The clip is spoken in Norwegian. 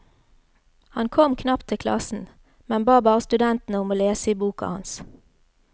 Han kom knapt til klassen, men ba bare studentene om å lese i boka hans.